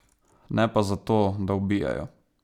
Ne pa zato, da ubijajo.